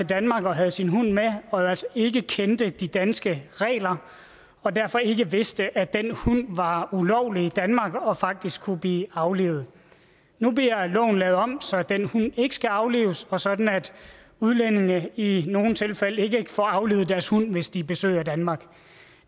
danmark og havde sin hund med og altså ikke kendte de danske regler og derfor ikke vidste at den hund var ulovlig i danmark og faktisk kunne blive aflivet nu bliver loven lavet om så den hund ikke skal aflives og sådan at udlændinge i nogle tilfælde ikke får aflivet deres hund hvis de besøger danmark